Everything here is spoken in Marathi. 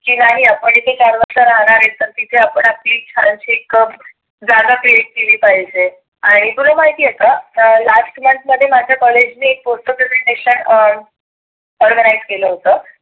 ही आपण आपली तिथ राहणार आहे तर तीथं आपली health checkup ज्यादा केली पाहीजे. आणि तुला माहिती आहे का? last month मध्ये माझ कॉलेज अं organize केलं होतं.